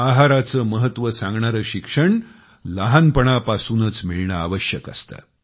आहाराचे महत्त्व सांगणारे शिक्षण लहानपणापासूनच मिळणे आवश्यक असते